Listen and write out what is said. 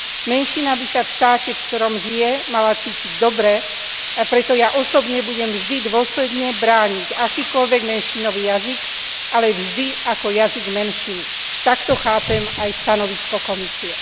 Menšina by sa v štáte, ktorom žije, mala cítiť dobre, a preto ja osobne budem vždy dôsledne brániť akýkoľvek menšinový jazyk, ale vždy ako jazyk menšiny. Takto chápem aj stanovisko Komisie.